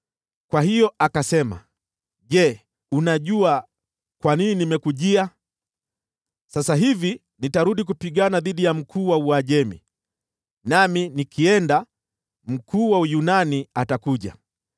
Kwa hiyo akasema, “Je, unajua kwa nini nimekujia? Sasa hivi nitarudi kupigana dhidi ya mkuu wa Uajemi, nami nikienda, mkuu wa Uyunani atakuja.